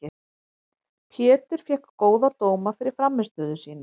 Pétur fékk góða dóma fyrir frammistöðu sína.